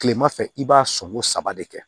Kilema fɛ i b'a songo saba de kɛ